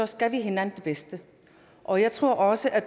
skal vi hinanden det bedste og jeg tror også at